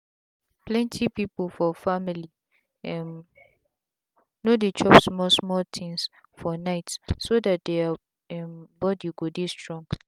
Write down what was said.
plenty people for family um no dey chop small small things for night so that their um body go dey strong.